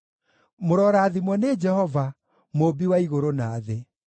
Mũrorathimwo nĩ Jehova, Mũmbi wa igũrũ na thĩ.